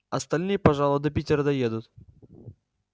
остальные пожалуй до питера доедут